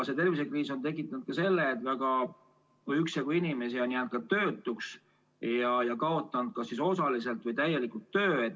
See tervisekriis on tekitanud ka selle, et üksjagu inimesi on jäänud töötuks ja kaotanud kas osaliselt või täielikult töö.